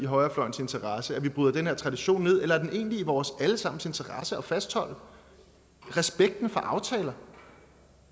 højrefløjens interesse at vi bryder den her tradition ned eller er det egentlig i vores alle sammens interesse at fastholde respekten for aftaler